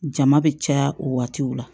Jama bɛ caya o waatiw la